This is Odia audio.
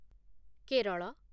କେରଳ